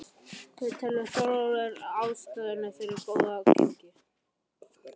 Hver telur Þórhallur vera aðal ástæðuna fyrir þessu góða gengi?